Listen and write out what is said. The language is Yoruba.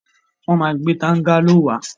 Wọ́n ma gbẹ́ tángáló wá.